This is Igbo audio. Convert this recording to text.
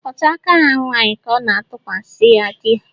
Otu aka ha nwaanyị ka ọ ga-atụkwasị ya dị ya